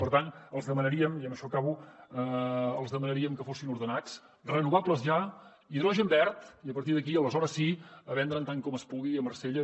per tant els demanaríem i amb això acabo que fossin ordenats renovables ja hidrogen verd i a partir d’aquí aleshores sí a vendre’n tant com es pugui a marsella